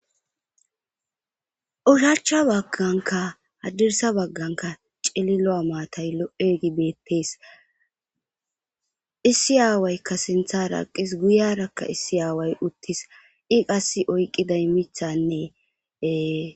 oshachcha bagganka hadirsa bagganka cili lo7amaatay lo7e gibeettees issi aawaykka sintha raaqis guyarakka issi aaway uttis i qass oyqqiday mithanneee